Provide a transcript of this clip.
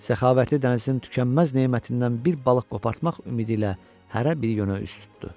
Səxavətli dənizin tükənməz nemətindən bir balıq qopartmaq ümidi ilə hərə bir yönə üz tutdu.